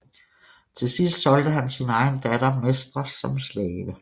Til sidst solgte han sin egen datter Mestra som slave